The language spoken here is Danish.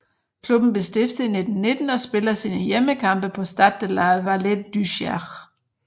Klubben blev stiftet i 1919 og spiller sine hjemmekampe på Stade de la Vallée du Cher